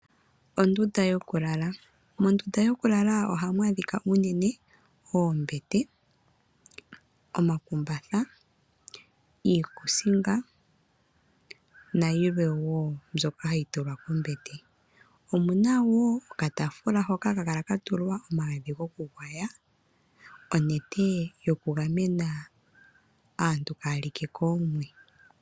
Ondunda yokulala. Mondunda yokulala ohamu adhika unene oombete, omakumbatha , iikusinga nayilwe woo mbyoka hayi tulwa pombete. Omu na woo okaafula hoka haka kala ka tulwa omagadhi gokugwaywa, onete yokugamena aantu kaya like koomwe.